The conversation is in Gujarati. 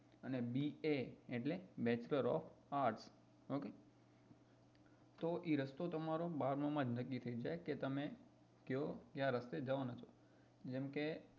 અને ba એટલે bachelor of artsok તો એ રસ્તો તમારો બારમાં માં જ નક્કી થઇ જાય કે તમે કયો કયા રસ્તે જવાના છો જેમ કે